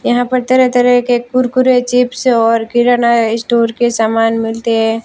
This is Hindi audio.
यहां पर तरह तरह के कुरकुरे चिप्स है और किराना इस्टोर के सामान मिलते है।